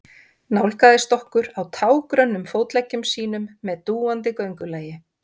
Nálgaðist okkur á tággrönnum fótleggjum sínum með dúandi göngulagi.